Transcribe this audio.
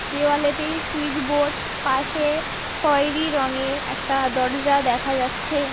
দেওয়ালেতেই switch board পাশে খয়েরি রঙের একটা দরজা দেখা যাচ্ছে।